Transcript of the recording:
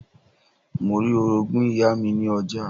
Mo rí Orogún ìyá mi ní ọjà